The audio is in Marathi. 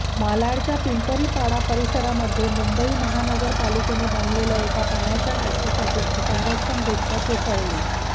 मालाडच्या पिंपरीपाडा परिसरामध्ये मुंबई महानगर पालिकेने बांधलेल्या एका पाण्याच्या टाकीसाठीची संरक्षक भिंत कोसळली